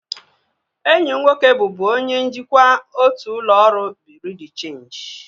Enyi m nwoke bụbu onye njikwa otu ụlọ ọrụ bureau de cheenji